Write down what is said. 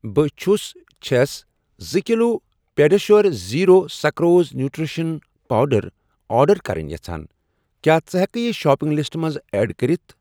بہٕ چھس چھَس زٕ kilo PediaSure zero sucrose nutrition powder order کرٕنۍ یژھان، کیٛاہ ژٕ ہٮ۪کہٕ یہِ شاپنگ لسٹَس منٛز ایڈ کٔرِتھ؟